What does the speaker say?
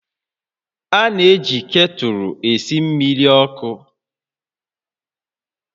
A na-eji ktụlụ esi mmiri ọkụ